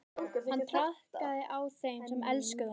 Hann traðkaði á þeim sem elskuðu hann.